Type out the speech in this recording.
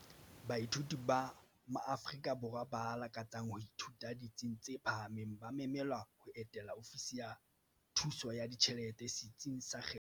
Baithuti ba maAfrika Borwa ba lakatsang ho ithuta ditsing tse phahameng ba memelwa ho etela ofisi ya Thuso ya Ditjhelete setsing sa kgetho ya bona.